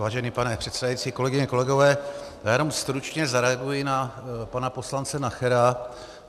Vážený pane předsedající, kolegyně, kolegové, já jenom stručně zareaguji na pana poslance Nachera.